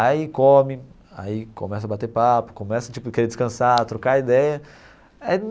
Aí come, aí começa a bater papo, começa, tipo, querer descansar, trocar ideia aí.